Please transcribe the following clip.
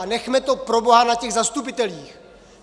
A nechme to proboha na těch zastupitelích!